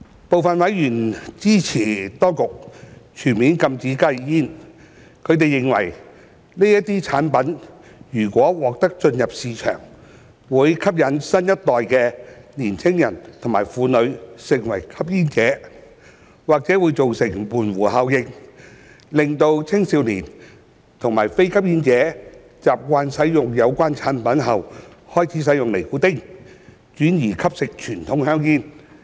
部分委員支持當局全面禁止加熱煙，他們認為，這些產品如獲准進入市場，會吸引新一代的年輕人和婦女成為吸煙者，或會造成門戶效應，令青少年及非吸煙者習慣使用有關產品後開始使用尼古丁，轉而吸食傳統香煙。